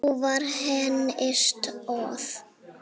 Trú var henni stoð.